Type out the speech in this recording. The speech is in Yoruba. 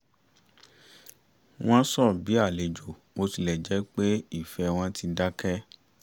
wọ́n sọ bí àlejò bó tilẹ̀ jẹ́ pé ìfẹ́ wọn ti dákẹ̀